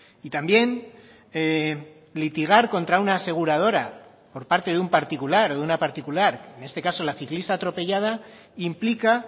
y también litigar contra una aseguradora por parte de un particular o de una particular en este caso la ciclista atropellada implica